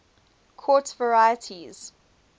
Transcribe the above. quartz varieties